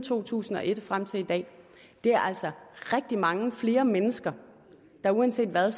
to tusind og et og frem til i dag det er altså rigtig mange flere mennesker der uanset hvad